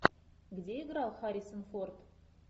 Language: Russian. где играл харрисон форд